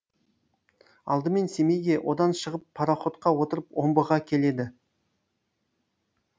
алдымен семейге одан шығып пароходқа отырып омбыға келеді